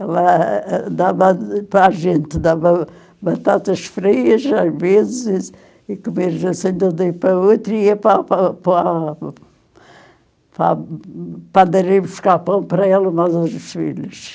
Ela eh dava para a gente, dava batatas frias às vezes, encomenda assim de um dia para o outro, e ia para para para... para a padaria buscar pão para ela e para os outros filhos.